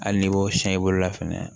Hali n'i b'o siyɛ i bolo la fɛnɛ